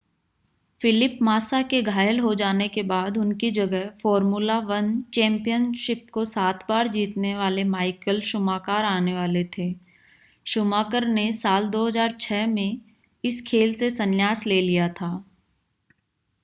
Philip Massa के घायल हो जाने के बाद उनकी जगह फ़ॉर्मूला-1 चैंपियनशिप को सात बार जीतने वाले माइकल शूमाकर आने वाले थे शूमाकर ने साल 2006 में इस खेल से संन्यास ले लिया था